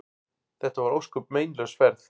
Þetta var ósköp meinlaus ferð.